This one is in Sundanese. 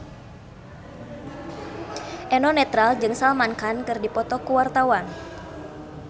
Eno Netral jeung Salman Khan keur dipoto ku wartawan